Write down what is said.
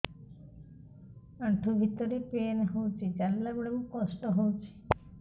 ଆଣ୍ଠୁ ଭିତରେ ପେନ୍ ହଉଚି ଚାଲିଲା ବେଳକୁ କଷ୍ଟ ହଉଚି